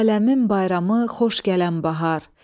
Aləmin bayramı xoş gələn bahar.